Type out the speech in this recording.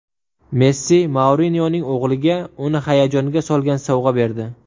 Messi Mourinyoning o‘g‘liga uni hayajonga solgan sovg‘a berdi.